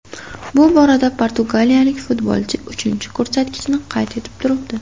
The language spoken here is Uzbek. Bu borada portugaliyalik futbolchi uchinchi ko‘rsatkichni qayd etib turibdi.